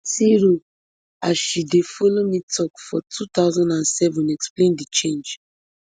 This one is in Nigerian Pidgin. siro as she dey follow me tok for two thousand and seven explain di change